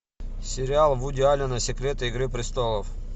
сериал вуди аллена секреты игры престолов